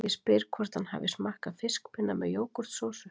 Ég spyr hvort hann hafi smakkað fiskpinna með jógúrtsósu